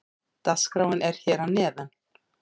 Dagskráin er hér að neðan.